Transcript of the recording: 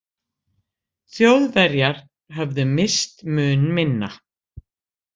Þjóðverjar höfðu misst mun minna.